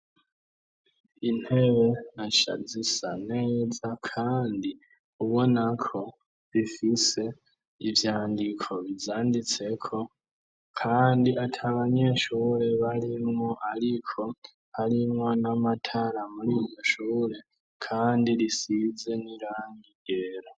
Intebe na shazisa neza, kandi ubonako bifise ivyandiko bizanditseko, kandi ata banyeshure barimwo, ariko harimwo n'amatara muri nushure, kandi risize n'irangi gera.